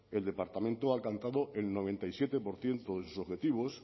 el departamento ha alcanzado el noventa y siete por ciento de sus objetivos